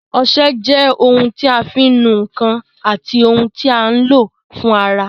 Ọsẹ jẹ́ ohun tí a fi ń nu ǹkan àti ohun tí a ń lò fún ara